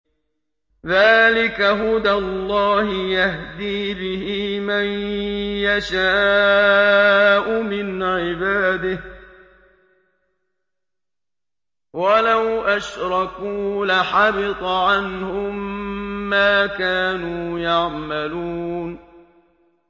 ذَٰلِكَ هُدَى اللَّهِ يَهْدِي بِهِ مَن يَشَاءُ مِنْ عِبَادِهِ ۚ وَلَوْ أَشْرَكُوا لَحَبِطَ عَنْهُم مَّا كَانُوا يَعْمَلُونَ